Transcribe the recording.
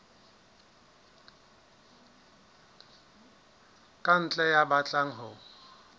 ka ntle ya batlang ho